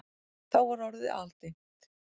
Þá var orðið aldimmt.